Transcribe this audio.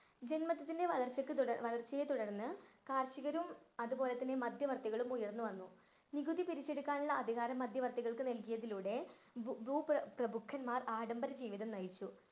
ജൻമത്ത്വത്തിന്‍റെ വളർച്ചക്ക് വളര്‍ച്ചയെ തുടര്‍ന്നു കാര്‍ഷികരും അതുപോലെ മധ്യവര്‍ത്തികളും ഉയര്‍ന്നു വന്നു. നികുതി പിരിച്ചെടുക്കാനുള്ള അധികാരം മധ്യവര്‍ത്തികള്‍ക്ക് നല്‍കിയതോടെ ഭൂ~ ഭൂപ്രഭുക്കന്മാര്‍ ആഡംബരജീവിതം നയിച്ചു.